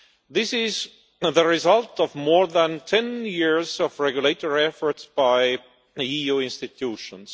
This is the result of more than 10 years of regulatory effort by the EU institutions.